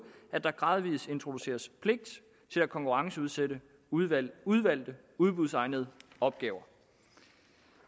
at der gradvis introduceres pligt til at konkurrenceudsætte udvalgte udvalgte udbudsegnede opgaver